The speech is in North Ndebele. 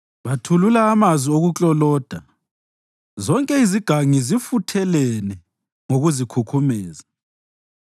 Bathulula amazwi okukloloda; zonke izigangi zifuthelene ngokuzikhukhumeza.